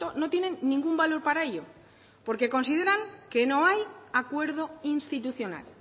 no tienen ningún valor para ello porque consideran que no hay acuerdo institucional